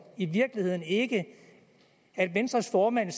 i virkeligheden ikke at venstres formand